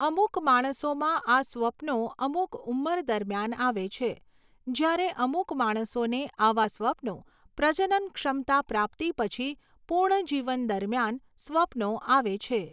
અમુક માણસોમાં આ સ્વપ્નો અમુક ઉંમર દરમિયાન આવે છે, જ્યારે અમુક માણસોને આવા સ્વપ્નો પ્રજનન ક્ષમતા પ્રાપ્તિ પછી પૂર્ણ જીવન દરમિયાન સ્વપ્નો આવે છે.